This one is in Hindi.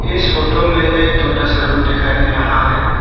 इस फोटो में एक छोटा सा रूम दिखाई दे रहा है।